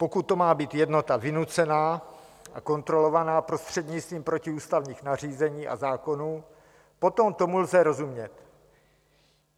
Pokud to má být jednota vynucená a kontrolovaná prostřednictvím protiústavních nařízení a zákonů, potom tomu lze rozumět.